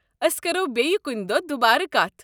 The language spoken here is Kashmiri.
ٲسۍ کرَو بیٚیہ کُنہِ دۄہ دُبارٕ کتھ۔